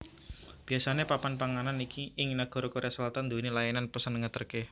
Biasane papan panganan ing nagara Korea Selatan nduwèni layanan pesen ngeterke